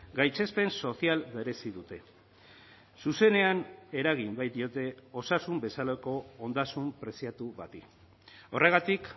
gaitzespen sozial merezi dute zuzenean eragin baitiote osasun bezalako ondasun preziatu bati horregatik